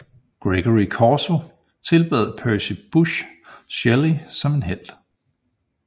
Gregory Corso tilbad Percy Busshe Shelley som en helt